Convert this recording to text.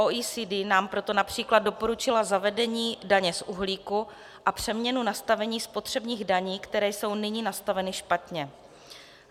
OECD nám proto například doporučila zavedení daně z uhlíku a přeměnu nastavení spotřebních daní, které jsou nyní nastaveny špatně.